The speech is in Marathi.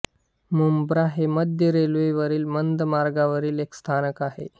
मुंब्रा हे मध्य रेल्वेवरील मंद मार्गावरील एक स्थानक आहे